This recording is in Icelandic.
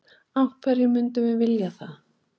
Af hverju myndum við vilja það?